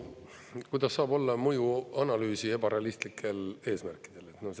No kuidas saab olla mõjuanalüüsi ebarealistlikel eesmärkidel?